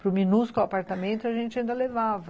Para o minúsculo apartamento, a gente ainda levava.